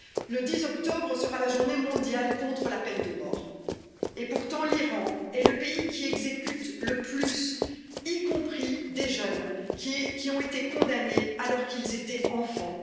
Le 10 octobre sera la journée mondiale contre la peine de mort et pourtant, l'Iran est le pays qui exécute le plus, y compris des jeunes qui ont été condamnés alors qu'ils étaient enfants